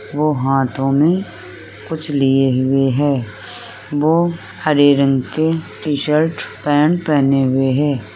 वो हाथों में कुछ लिए हुए है वो हरे रंग के टी-शर्ट पेन्ट पहने हुए है।